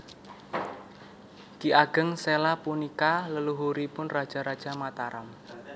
Ki Ageng Séla punika leluhuripun raja raja Mataram